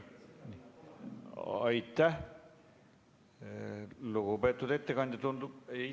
Aitäh, lugupeetud ettekandja!